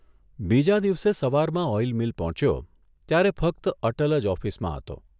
બીજા દિવસે સવારમાં ઓઇલ મીલ પહોંચ્યો ત્યારે ફક્ત અટલ જ ઓફિસમાં હતો.